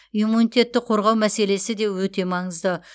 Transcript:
иммунитетті қорғау мәселесі де өте маңызды